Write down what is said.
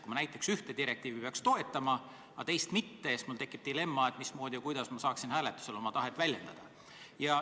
Kui ma näiteks ühte direktiivi peaksin tahtma toetada, aga teist mitte, siis tekiks mul dilemma, et mismoodi ja kuidas ma saaksin hääletusel oma tahet väljendada.